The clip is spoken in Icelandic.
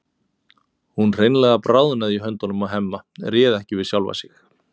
Hún hreinlega bráðnaði í höndunum á Hemma, réð ekki við sjálfa sig.